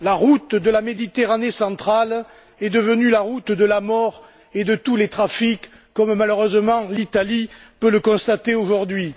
La route de la Méditerranée centrale est devenue la route de la mort et de tous les trafics, comme malheureusement l'Italie peut le constater aujourd'hui.